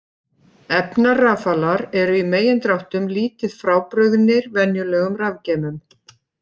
Efnarafalar eru í megindráttum lítið frábrugðnir venjulegum rafgeymum.